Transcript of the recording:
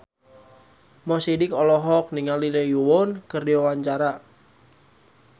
Mo Sidik olohok ningali Lee Yo Won keur diwawancara